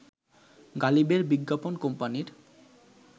গালিবের বিজ্ঞাপন কোম্পানির